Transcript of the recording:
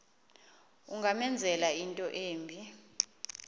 ungamenzela into embi